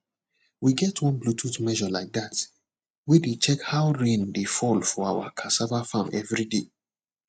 we get one bluetooth measure like that wey dey check how rain dey fall for our cassava farm every day